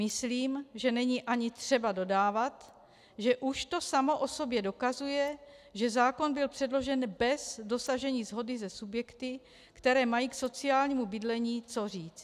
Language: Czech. Myslím, že není ani třeba dodávat, že už to samo o sobě dokazuje, že zákon byl předložen bez dosažení shody se subjekty, které mají k sociálnímu bydlení co říct.